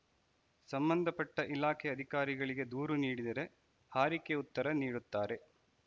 ಸಂಬಂಧ ಪಟ್ಟ ಇಲಾಖೆ ಅಧಿಕಾರಿಗಳಿಗೆ ದೂರು ನೀಡಿದರೆ ಹಾರಿಕೆ ಉತ್ತರ ನೀಡುತ್ತಾರೆ